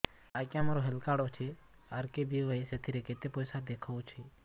ଆଜ୍ଞା ମୋର health card ଅଛି ଆର୍.କେ.ବି.ୱାଇ ସେଥିରେ କେତେ ପଇସା ଦେଖଉଛି